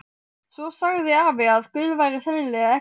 Svo sagði afi að Guð væri sennilega ekki til.